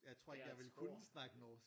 Jeg tror ikke jeg ville kunne snakke norsk